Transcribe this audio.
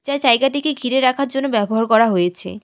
যা জায়গাটিকে ঘিরে রাখার জন্য ব্যবহার করা হয়েছে।